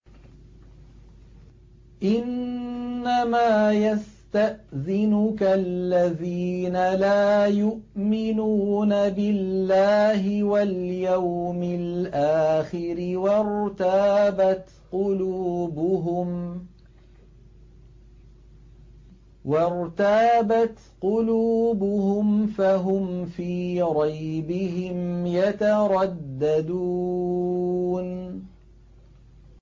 إِنَّمَا يَسْتَأْذِنُكَ الَّذِينَ لَا يُؤْمِنُونَ بِاللَّهِ وَالْيَوْمِ الْآخِرِ وَارْتَابَتْ قُلُوبُهُمْ فَهُمْ فِي رَيْبِهِمْ يَتَرَدَّدُونَ